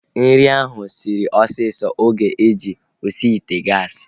Nri ahu sịrị osisi oge e ji osi ite gaasi